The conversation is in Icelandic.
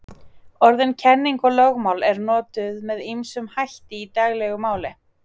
Orðin kenning og lögmál eru notuð með ýmsum hætti í daglegu máli.